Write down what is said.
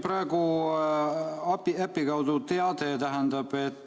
Praegu tuli äpi kaudu teade.